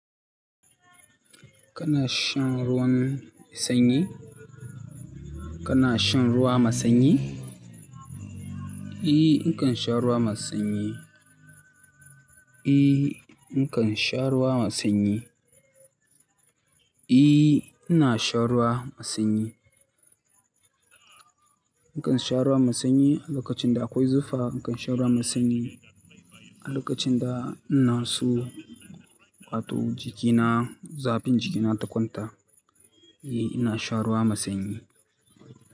Kana shan ruwan sanyi? Kana shan ruwa masanyi? E, nakan sha ruwa masu sanyi. E, nakan sha ruwa masanyi. E, ina shan ruwa masanyi. Nakan sha ruwa masanyi a lokacin da akwai zufa. Nakan sha ruwa masanyi a lokacin da ina so in hato jikina, zafin jikina ta kwanta. E, ina sha ruwa masanyi.